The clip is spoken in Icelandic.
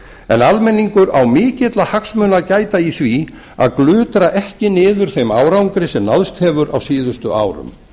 en almenningur á mikilla hagsmuna að gæta í því að glutra ekki niður þeim árangri sem náðst hefur á síðustu árum